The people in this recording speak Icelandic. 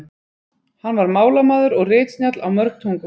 hann var málamaður og ritsnjall á mörg tungumál